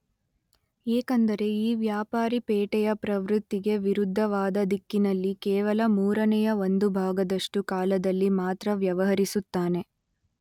ಏಕೆಂದರೆ ಈ ವ್ಯಾಪಾರಿ ಪೇಟೆಯ ಪ್ರವೃತ್ತಿಗೆ ವಿರುದ್ಧವಾದ ದಿಕ್ಕಿನಲ್ಲಿ ಕೇವಲ ಮೂರನೆಯ ಒಂದು ಭಾಗದಷ್ಟು ಕಾಲದಲ್ಲಿ ಮಾತ್ರ ವ್ಯವಹರಿಸುತ್ತಾನೆ.